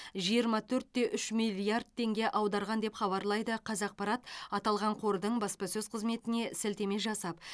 жиырма төрт те үш миллиард теңге аударған деп хабарлайды қазақпарат аталған қордың баспасөз қызметіне сілтеме жасап